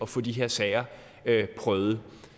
få de her sager prøvet